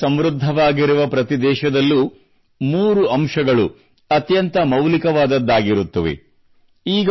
ಯುವಕರಿಂದ ಸಮೃದ್ಧವಾಗಿರುವ ಪ್ರತಿ ದೇಶದಲ್ಲೂ ಮೂರು ಅಂಶಗಳು ಅತ್ಯಂತ ಮೌಲಿಕವಾದದ್ದಾಗಿರುತ್ತವೆ